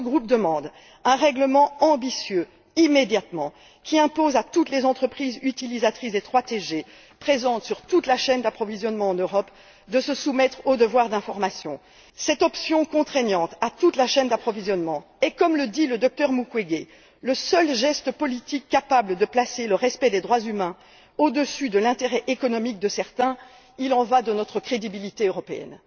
Notre groupe demande un règlement ambitieux immédiatement, qui impose à toutes les entreprises utilisatrices des 3TG présentes sur toute la chaîne d'approvisionnement en Europe de se soumettre au devoir d'information. Cette option contraignante pour toute la chaîne d'approvisionnement est, comme le dit le docteur Mukwege, le seul geste politique capable de placer le respect des droits humains au dessus de l'intérêt économique de certains. Il en va de notre crédibilité européenne.